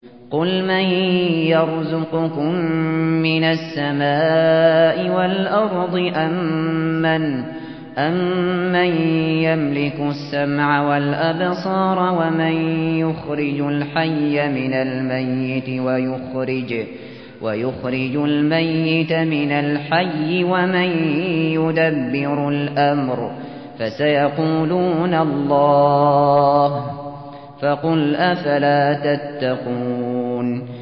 قُلْ مَن يَرْزُقُكُم مِّنَ السَّمَاءِ وَالْأَرْضِ أَمَّن يَمْلِكُ السَّمْعَ وَالْأَبْصَارَ وَمَن يُخْرِجُ الْحَيَّ مِنَ الْمَيِّتِ وَيُخْرِجُ الْمَيِّتَ مِنَ الْحَيِّ وَمَن يُدَبِّرُ الْأَمْرَ ۚ فَسَيَقُولُونَ اللَّهُ ۚ فَقُلْ أَفَلَا تَتَّقُونَ